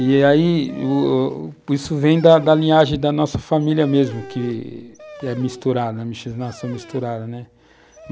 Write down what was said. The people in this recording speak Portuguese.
E aí, o o isso vem da linhagem da nossa família mesmo, que é misturada, a miscigenação é misturada, né?